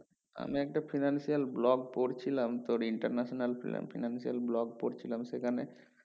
আমি একটা financial block পড়ছিলাম international financial block পড়ছিলাম সেখানে